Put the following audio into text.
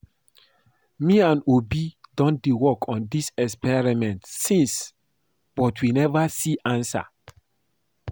Me and Obi don dey work on dis experiment since but we never see answer